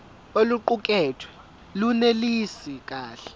oluqukethwe lunelisi kahle